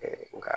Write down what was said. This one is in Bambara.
nka